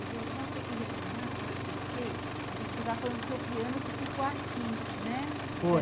Eu vou só ter que retomar, quando eu disser ok, é assim que você estava falando do seu piano que ficou aqui, né?